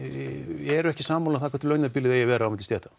eru ekki sammála um hvert launabilið eigi að vera milli stétta